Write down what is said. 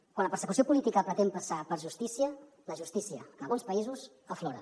quan la persecució política pretén passar per justícia la justícia en alguns països aflora